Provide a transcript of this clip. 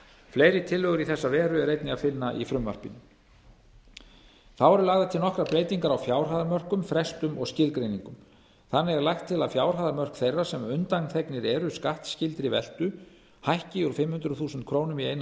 fleiri tillögur í þessa veru er einnig að finna í frumvarpinu þá eru lagðar til nokkrar breytingar á fjárhæðarmörkum frestum og skilgreiningum þannig er lagt til að fjárhæðarmörk þeirra sem undanþegnir eru skattskyldri veltu hækki úr fimm hundruð þúsund krónur í einni